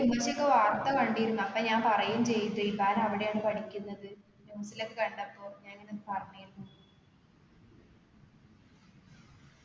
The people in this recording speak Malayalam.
ഉമ്മച്ചി ഒക്കെ വാർത്ത കണ്ടിരുന്നു അപ്പൊ ഞാൻ പറയും ചെയ്തു ഹിസാന അവിടെയാണ് പഠിക്കുന്നത് news ലൊക്കെ കണ്ടപ്പൊ ഞാൻ ഇങ്ങനെ പറഞ്ഞിരുന്നു